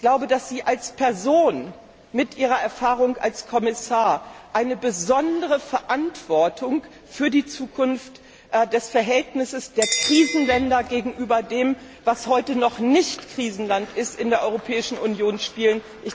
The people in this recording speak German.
Ich glaube, dass Sie als Person mit Ihrer Erfahrung als Kommissar eine besondere Verantwortung für die Zukunft des Verhältnisses der Krisenländer gegenüber dem, was heute noch nicht Krisenland ist, in der Europäischen Union spielen.